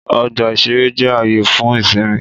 Ọgbà-ìṣeré jẹ́ ààyè fún ìsinmi